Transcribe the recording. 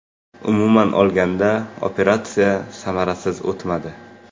Umuman olganda, operatsiya samarasiz o‘tmadi.